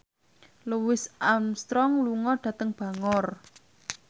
Louis Armstrong lunga dhateng Bangor